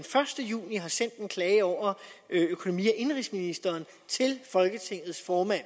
første juni har sendt en klage over økonomi og indenrigsministeren til folketingets formand